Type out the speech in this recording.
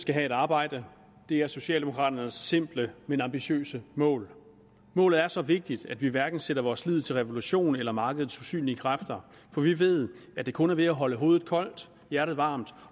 skal have et arbejde det er socialdemokraternes simple men ambitiøse mål målet er så vigtigt at vi hverken sætter vores lid til revolution eller markedets usynlige kræfter for vi ved at kun ved at holde hovedet koldt og hjertet varmt